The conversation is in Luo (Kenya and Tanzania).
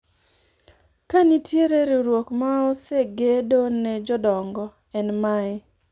ka nitiere riwruok ma osegedo ne jodongo ,en mae